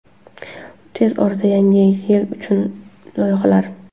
Tez orada yangi yil uchun yangi loyihalar.